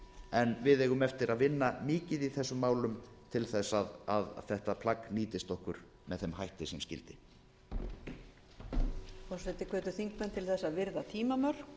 en við eigum eftir að vinna mikið í þessum málum til að þetta plagg nýtist okkur með þeim hætti sem skyldi